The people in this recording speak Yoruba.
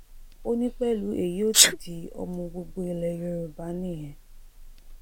ó ní pẹ̀lú èyí ó ti di ọmọ gbogbo ilẹ̀ yorùbá nìyẹn